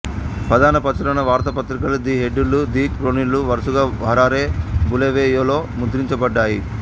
ప్రధాన ప్రచురణ వార్తాపత్రికలు ది హెరాల్డు ది క్రోనికలు వరుసగా హరారే బులేవేయోలో ముద్రించబడ్డాయి